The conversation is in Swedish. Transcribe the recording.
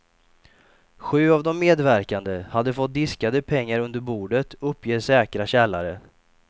Sju av de medverkande hade fått diskade pengar under bordet, uppger säkra källare.